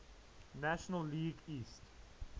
national league east